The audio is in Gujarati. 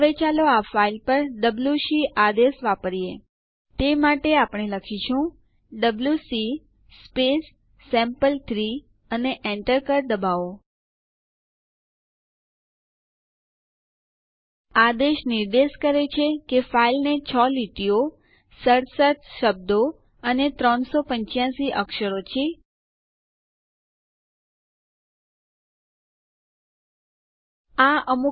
આ યુઆરએલ પર ઉપલબ્ધ વિડિયો મૌખિક ટ્યુટોરીયલ યોજના માટે સારાંશ આપે છે જો તમારી પાસે સારી બેન્ડવિડ્થ ન હોય તો તમે તે ડાઉનલોડ કરી જોઈ શકો છો